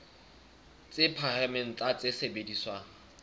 tse phahameng tsa tse sebediswang